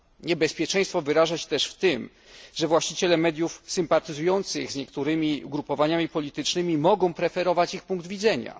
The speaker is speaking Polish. Niebezpieczeństwo wyraża się też w tym, że właściciele mediów sympatyzujących z niektórymi ugrupowaniami politycznymi mogą preferować ich punkt widzenia.